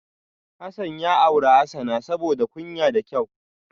Hasan ya auri Hasana saboda kunya da kyau